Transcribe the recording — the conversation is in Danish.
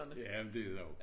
Ja men det er det jo